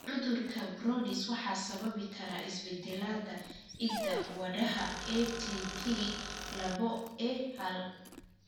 Cudurka Brodys waxaa sababi kara isbeddellada hidda-wadaha ATP laboA hal.